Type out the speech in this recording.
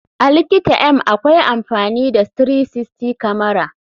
A likita m akwai amfani da 360 kamara.